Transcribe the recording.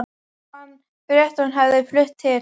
Hann frétti að hún hefði flutt til